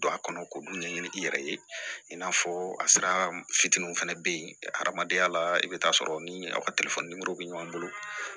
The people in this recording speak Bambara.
Don a kɔnɔ k'olu ɲɛɲini i yɛrɛ ye i n'a fɔ a sira fitininw fana bɛ yen adamadenya la i bɛ taa sɔrɔ ni a ka bɛ ɲɔgɔn bolo